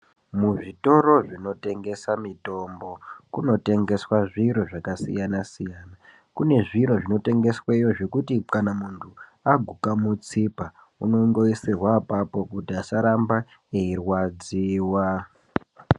Muzvitoro zvinotengesa mitombo kumotengeswa zviro zvakasiyana siyana kune zviro zvinotengeswayo zvekuti kana muntu aguka mutsipa unongoisorwa apapo kuti asaramba eirwadziwa.